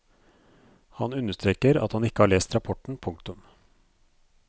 Han understreker at han ikke har lest rapporten. punktum